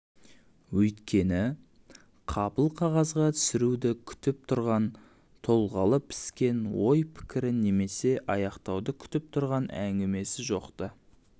өйткені қапыл қағазға түсіруді күтіп тұрған толғағы піскен ой пікірі немесе аяқтауды күтіп тұрған әңгімесі жоқ-ты